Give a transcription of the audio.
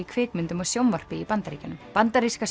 kvikmyndum og sjónvarpi í Bandaríkjunum bandaríska